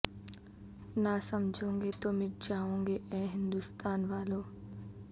نہ سمجھو گے تو مٹ جاوگے اے ہندوستاں والو